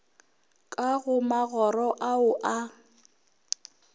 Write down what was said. ka go magoro ao a